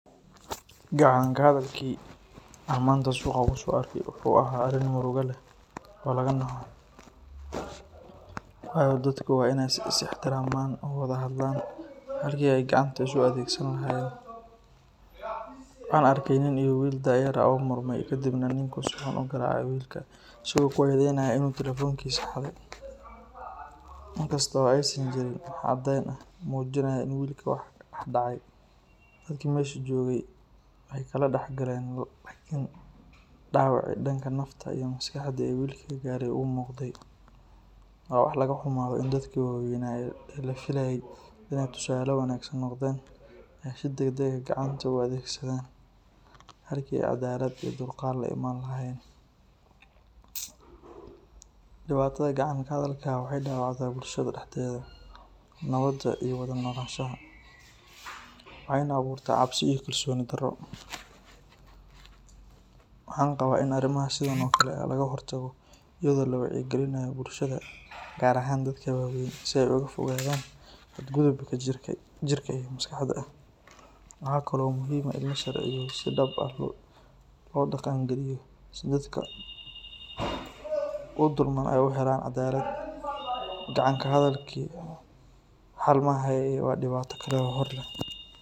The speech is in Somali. Gacan ka hadalkii aan maanta suuqay kusoo arkay wuxuu ahaa arrin murugo leh oo laga naxo, waayo dadku waa inay is ixtiraamaan oo wada hadlaan halkii ay gacanta isu adeegsan lahaayeen. Waxaan arkay nin iyo wiil da’yar ah oo murmay kadibna ninku si xun u garaacay wiilka isagoo ku eedaynaya inuu taleefankiisa xaday, inkasta oo aysan jirin wax cadayn ah oo muujinaya in wiilka wax dhacay. Dadkii meesha joogay way kala dhex galeen laakiin dhaawacii dhanka nafta iyo maskaxda ee wiilka gaaray wuu muuqday. Waa wax laga xumaado in dadkii waaweynaa ee la filayay inay tusaale wanaag noqdaan ay si degdeg ah gacanta u adeegsadaan halkii ay caddaalad iyo dulqaad la iman lahaayeen. Dhibaatada gacan ka hadalka waxay dhaawacdaa bulshada dhexdeeda nabadda iyo wada noolaanshaha, waxayna abuurtaa cabsi iyo kalsooni darro. Waxaan qabaa in arrimaha sidan oo kale ah laga hortago iyadoo la wacyigelinayo bulshada, gaar ahaan dadka waaweyn si ay uga fogaadaan xadgudubka jirka iyo maskaxda ah. Waxa kale oo muhiim ah in la helo sharciyo si dhab ah loo dhaqan geliyo si dadka u dulman ay u helaan caddaalad. Gacan ka hadalku xal ma aha ee waa dhibaato kale oo hor leh.